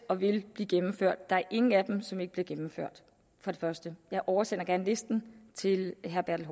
og vil blive gennemført der er ingen er af dem som ikke bliver gennemført for det første jeg oversender gerne listen til herre bertel